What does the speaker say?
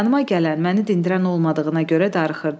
Yanıma gələn, məni dindirən olmadığına görə darıxırdım.